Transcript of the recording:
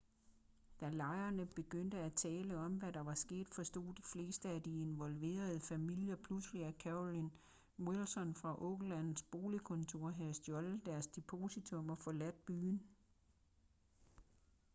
da lejerne begyndte at tale om hvad der var sket forstod de fleste af de involverede familier pludselig at carolyn wilson fra oaklands boligkontor havde stjålet deres depositum og forladt byen